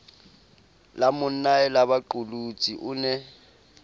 la monnae lebaqolotsi o ne